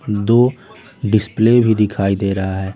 दो डिस्प्ले भी दिखाई दे रहा है।